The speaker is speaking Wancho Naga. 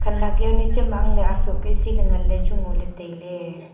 khanak yaonu cham mah ang ley soh keh se ley ngan ley chu ngo ley tailey.